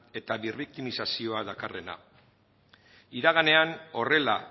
eta birriktimizazio dakarrena iraganean horrela